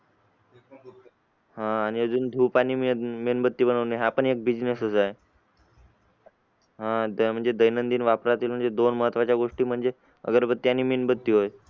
आह आणि अजून धूप आणि मेणबत्ती बनवणे हा पण एक business च आहे. आह त्या म्हणजे दैनंदिन वापरातील दोन महत्त्वाच्या गोष्टी म्हणजे अगरबत्ती आणि मेणबत्ती होय